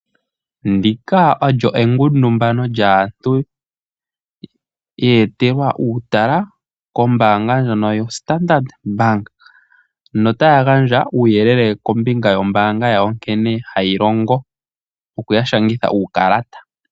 Ndika olyo engundumano lyaantu ye etelwa uutala kombaanga ndjono yaStandard bank, notaya gandja uuyelele kombinga yombaanga yawo nkene hayi longo nokuya shangitha uukalata.